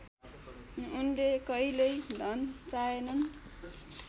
उनले कहित्यै धन चाहेनन्